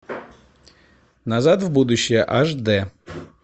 назад в будущее аш дэ